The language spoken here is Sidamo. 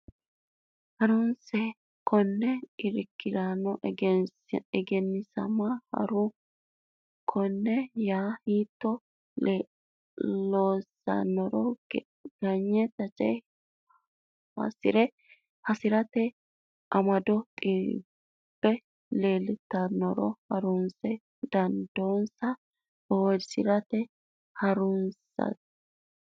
Ha runsi keeno Irkonna Egennaa misa Ha runsi keeno yaa hiitto loossanni nooro ganye taje hasi rate amado xabbe leeltinonsaronna hansoonni dandoonsa bowirsidhinota ha runsate.